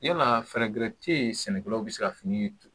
Yala fɛɛrɛ tɛ yen sɛnɛkɛlaw bɛ se ka fini